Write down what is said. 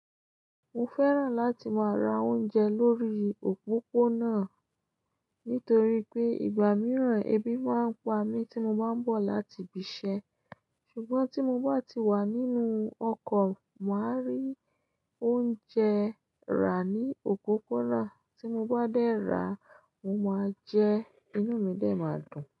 Mo fẹ́ràn láti máa ra oúnjẹ lórí òpópónà nítorí pé ìgbà mìíràn ebi máa ń pa mí tí mo bá ń bọ̀ láti ibi iṣẹ́ ṣùgbọ́n tí mo bá ti wà nínú ọkọ̀ máa rí oúnjẹ rà ní òpópónà tí mo bá dé ra mo máa jẹ inu mi dẹ̀ máa dùn.